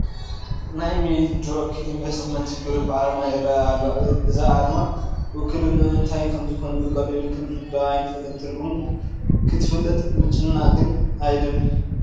ናይ ሚድሮክ ኢንፈስትመንት ግሩፕ ኣርማ ይርአ ኣሎ፡፡ እዚ ኣርማ ውክልንኡ እንታይ ከምዝኾነ ብቐሊሉ ክንርድኦ ኣይንኽእልን፡፡ ትርጉሙ ክትፈልጥ ምጭናቕ ግን ኣየድልን፡፡